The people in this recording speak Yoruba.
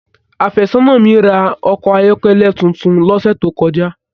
Áfesona mi ra a ọkọ ayọkẹlẹ titun lọsẹ to kọja.